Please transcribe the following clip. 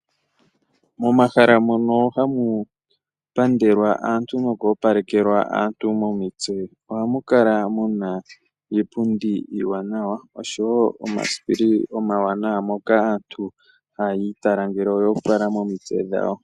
Momahala mono hamu pandelwa aantu noku opalekelwa aantu momitse ohamu kala muna iipundi iiwanawa oshowo omasipili omawanawa moka aantu haya itala ngele oya opala momitse dhawo.